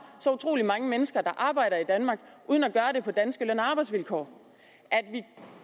så utrolig mange mennesker der arbejder i danmark uden at gøre det på danske løn og arbejdsvilkår at vi